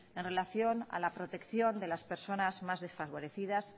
en relación a la protección de las personas más desfavorecidas